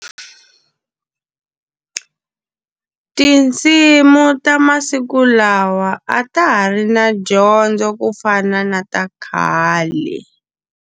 Tinsimu ta masiku lawa a ta ha ri na dyondzo ku fana na ta khale.